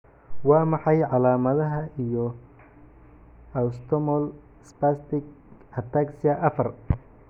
Waa maxay calaamadaha iyo calaamadaha Autosomal spastic ataxia afar?